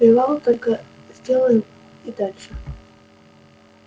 привал только сделаем и дальше